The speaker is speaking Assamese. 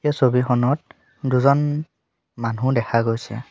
ছবিখনত দুজন মানুহ দেখা গৈছে।